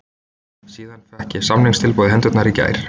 Síðan fékk ég samningstilboðið í hendurnar í gær.